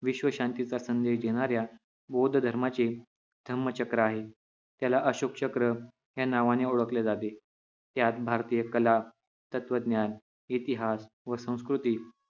विश्वशांतीचा संदेश देणाऱ्या बौद्ध धर्माचे धम्मचक्र आहे त्याला अशोकचक्र या नावाने ओळखले जाते त्यात भारतीय कला तत्त्वज्ञान इतिहास व संस्कृती